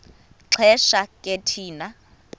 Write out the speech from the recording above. xesha ke thina